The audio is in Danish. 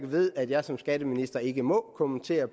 ved at jeg som skatteminister ikke må kommentere